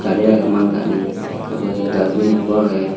gari agey maal gari te ubron dustbin ekko agey.